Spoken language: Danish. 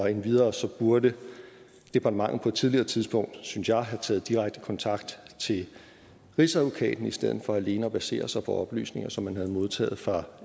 endvidere burde departementet på et tidligere tidspunkt synes jeg have taget direkte kontakt til rigsadvokaten i stedet for alene at basere sig på oplysninger som man havde modtaget fra